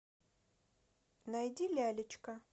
найди лялечка